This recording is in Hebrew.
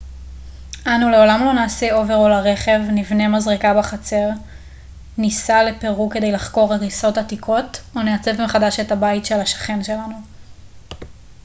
אנו לעולם לא נעשה אוברול לרכב נבנה מזרקה בחצר ניסע לפרו כדי לחקור הריסות עתיקות או נעצב מחדש את הבית של השכן שלנו